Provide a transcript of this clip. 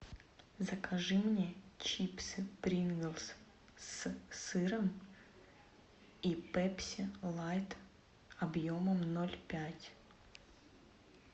закажи мне чипсы принглс с сыром и пепси лайт объемом ноль пять